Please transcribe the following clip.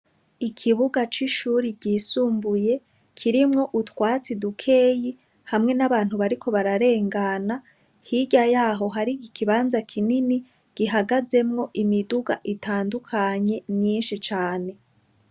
Ikibuga cishuri ryisumbuye kirimwo utwatsi dukeyi hamwe nabantu bariko bararengana hirya yaho hari ikibanza kinini gihagazemwo imiduga itandukanye myinshi cane.